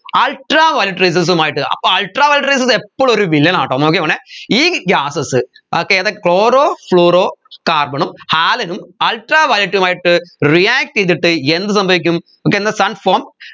ultraviolet rayses ഉമായിട്ട് അപ്പൊ ultaviolet rayses എപ്പളും ഒരു വില്ലനാട്ടോ നോക്കിക്കോണേ ഈ gases ഏർ ഏത് chloro fluoro carbon ഉം halon ഉം ultraviolet ഉമായിട്ട് react ചെയ്തിട്ട് എന്ത് സംഭവിക്കും എന്ന sun form